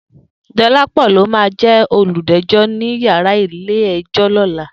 Dolapo ló má jè ólújèjò ni iyàrá ilé èjò lòlá